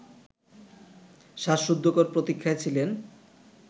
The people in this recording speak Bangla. শ্বাসরুদ্ধকর প্রতীক্ষায় ছিলেন